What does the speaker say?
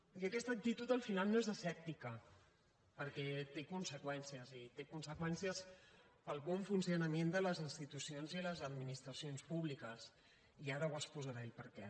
i aquesta actitud al final no és asèptica perquè té conseqüències i té conseqüències per al bon funcionament de les institucions i les administracions públiques i ara exposarem per què